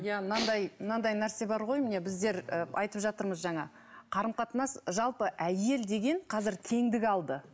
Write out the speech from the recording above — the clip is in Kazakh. иә мынадай мынадай нәрсе бар ғой міне біздер айтып жатырмыз жаңа қарым қатынас жалпы әйел деген қазір теңдік алды